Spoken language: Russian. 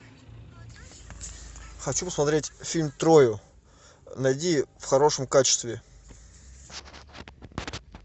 хочу посмотреть фильм трою найди в хорошем качестве